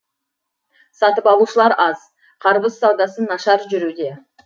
сатып алушылар аз қарбыз саудасы нашар жүруде